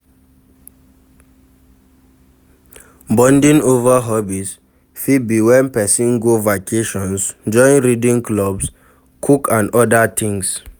Bonding over hobbies fit be when person go vacations, join reading clubs, cook and oda things